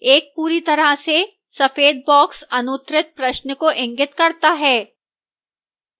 एक पूरी तरह से सफेद box अनुत्तरित प्रश्न को इंगित करता है